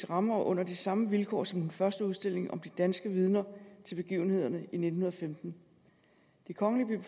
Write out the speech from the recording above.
rammer og under de samme vilkår som den første udstilling om de danske vidner til begivenhederne i nitten femten det kongelige